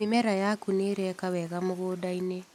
Mĩmera yaku nĩireka wega mũgũndainĩ.